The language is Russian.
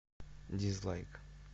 дизлайк